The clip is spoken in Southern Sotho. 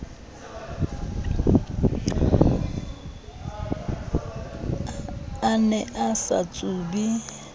a ne a sa tsube